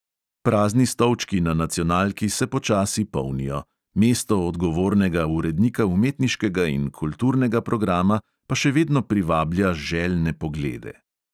Prazni stolčki na nacionalki se počasi polnijo, mesto odgovornega urednika umetniškega in kulturnega programa pa še vedno privablja željne poglede.